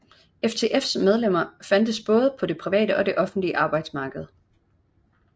FTFs medlemmer fandtes både på det private og det offentlige arbejdsmarked